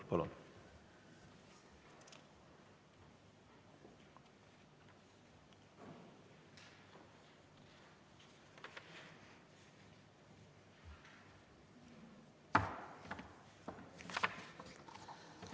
Palun!